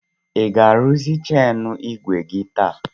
Ị ga-arụzị cheini igwe gi taa?